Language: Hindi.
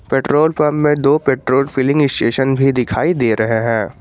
पेट्रोल पंप में दो पैट्रोल फिलिंग स्टेशन भी दिखाई दे रहे हैं।